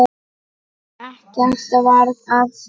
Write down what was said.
Ekkert varð af því.